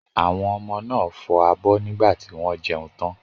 Àwọn ọmọ náà fọ abọ́ nígbà tí wọ́n jẹun tán.